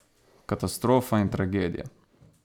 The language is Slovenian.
Katastrofa in tragedija.